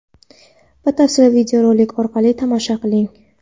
Batafsil videorolik orqali tomosha qiling.